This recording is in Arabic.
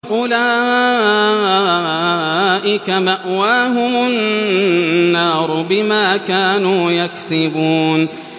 أُولَٰئِكَ مَأْوَاهُمُ النَّارُ بِمَا كَانُوا يَكْسِبُونَ